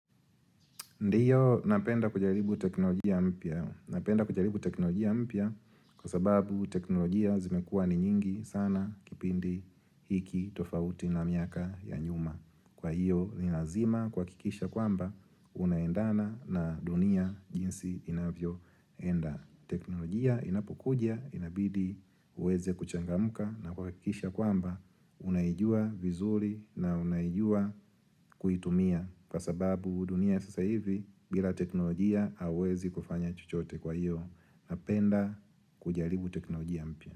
Ndiyo napenda kujaribu teknolojia mpya napenda kujaribu teknolojia mpya kwa sababu teknolojia zimekuwa ni nyingi sana kipindi hiki tofauti na miaka ya nyuma Kwa hiyo ni lazima kuhakikisha kwamba unaendana na dunia jinsi inavyoenda teknolojia inapokuja inabidi uweze kuchangamka na kwa kuhakikisha kwamba unaijua vizuri na unaijua kuitumia Kwa sababu dunia sasa hivi bila teknolojia hauwezi kufanya chochote kwa hiyo napenda kujaribu teknolojia mpya.